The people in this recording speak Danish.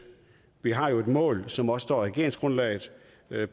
vi har jo et mål som også regeringsgrundlaget